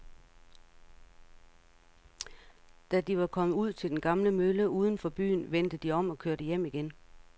Da de var kommet ud til den gamle mølle uden for byen, vendte de om og kørte hjem igen.